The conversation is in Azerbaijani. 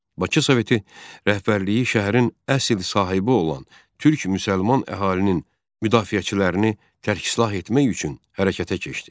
Bakı Soveti rəhbərliyi şəhərin əsl sahibi olan türk müsəlman əhalinin müdafiəçilərini tərksilah etmək üçün hərəkətə keçdi.